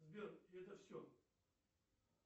сбер это все